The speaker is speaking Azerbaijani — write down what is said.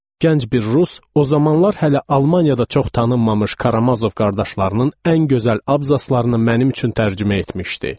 Gənc bir rus o zamanlar hələ Almaniyada çox tanınmamış Karamazov qardaşlarının ən gözəl abzaslarını mənim üçün tərcümə etmişdi.